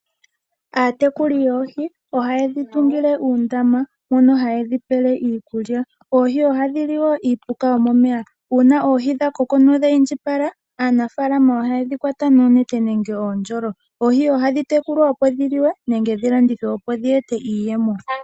Aatekuli yoohi ohaye dhi tungile uundama mono haye dhipele iikulya. Oohi ohadhi li wo iipuka yomomeya uuna oohi dhakoko nodhi indjipala aanafaalama ohaye dhikwata noonete nenge oondjolo. Oohi ohadhi tekulwa opo dhi liwe nenge dhilandithwe opo dheete iiyemo.